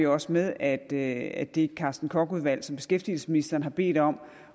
også med at det at det carsten koch udvalg som beskæftigelsesministeren har bedt om